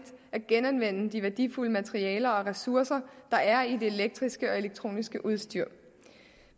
at genanvende de værdifulde materialer og ressourcer der er i det elektriske og elektroniske udstyr